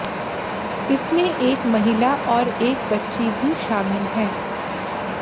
इनमें एक महिला और एक बच्ची भी शामिल है